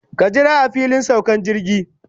Ka jira a filin saukan jirgi.